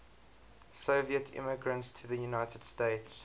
soviet immigrants to the united states